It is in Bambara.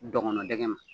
Dɔgɔnin ma